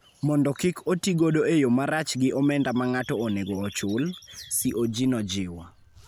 mondo kik otigodo e yo marach gi omenda ma ng�ato onego ochul,� CoG nojiwo.